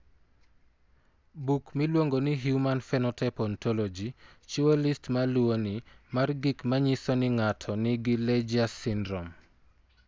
Buk miluongo ni Human Phenotype Ontology chiwo list ma luwoni mar gik ma nyiso ni ng'ato nigi Legius syndrome.